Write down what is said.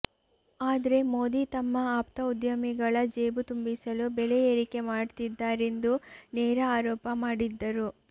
ಆದ್ರೆ ಮೋದಿ ತಮ್ಮ ಆಪ್ತ ಉದ್ಯಮಿಗಳ ಜೇಬು ತುಂಬಿಸಲು ಬೆಲೆ ಏರಿಕೆ ಮಾಡ್ತಿದ್ದಾರೆಂದು ನೇರ ಆರೋಪ ಮಾಡಿದ್ದರು